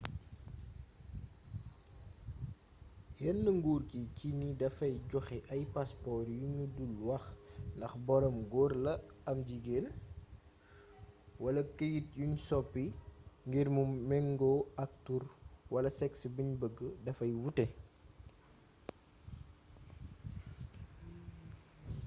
yéene nguur gi ci ni dafay joxe ay passeport yu ñu dul wax ndax boroom góor la am jigéen x wala këyit yuñ soppi ngir mu méngoo ak tur wala sexe biñ bëgg dafay wuute